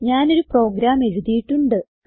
ഞാനൊരു പ്രോഗ്രാം എഴുതിയിട്ടുണ്ട്